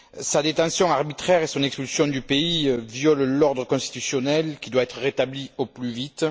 Sa détention arbitraire et son expulsion du pays violent l'ordre constitutionnel qui doit être rétabli au plus vite.